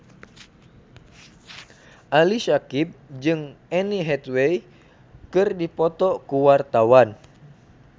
Ali Syakieb jeung Anne Hathaway keur dipoto ku wartawan